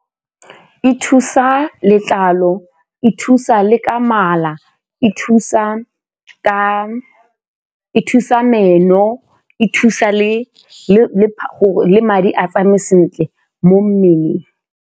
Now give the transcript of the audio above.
E thusa letlalo, e thusa le ka mala, e thusa meno e thusa le madi a tsamaye sentle mo mmeleng.